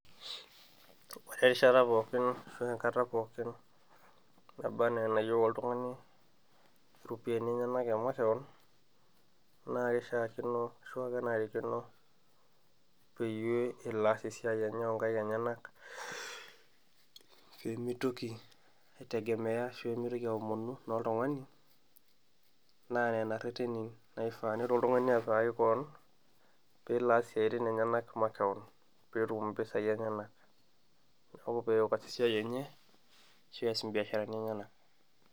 ore erishata pookin ashu aa enkata pookin naba anaa enayieu oltung'ani iropiyiani enyenak e makewon naa kishaakino ashuaa kenarikino peyie elo aas esiai enye oonkaik enyenak peemitoki aitegemeya ashu peemitoki aomonu inoltung'ani naa nena irreteni naifaa nelo oltung'ani apikaki koon peelo aas isiatin enyenak makewon peetum impisai enyenak neeku peeyok aas esiai enye ashu pees imbiasharani enyenak.